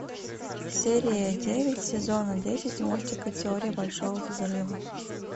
серия девять сезона десять мультика теория большого взрыва